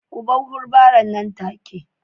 Ku bar hubbaren nan take